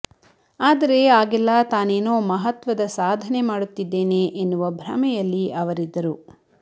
ಆದರೆ ಆಗೆಲ್ಲ ತಾನೇನೋ ಮಹತ್ವದ ಸಾಧನೆ ಮಾಡುತ್ತಿದ್ದೇನೆ ಎನ್ನುವ ಭ್ರಮೆಯಲ್ಲಿ ಅವರಿದ್ದರು